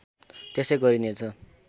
त्यसै गरिने छ